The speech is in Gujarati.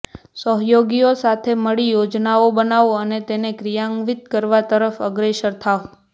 સહયોગિઓ સાથે મળી યોજનાઓ બનાવો અને તેને ક્રિયાન્વિત કરવા તરફ અગ્રસર થાવ